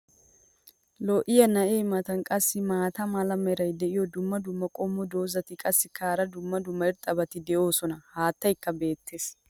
lo'iyaa na'ee matan qassi maata mala meray diyo dumma dumma qommo dozzati qassikka hara dumma dumma irxxabati doosona. haattaykka beetees.